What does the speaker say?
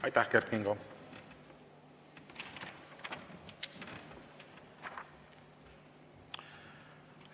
Aitäh, Kert Kingo!